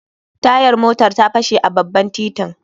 Tayar motar ta fashe a babban titin.